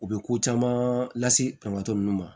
U bɛ ko caman lase kɛmɛ ninnu ma